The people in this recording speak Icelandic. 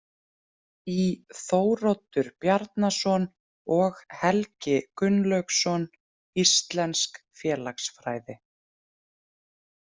Í Þóroddur Bjarnason og Helgi Gunnlaugsson, Íslensk Félagsfræði.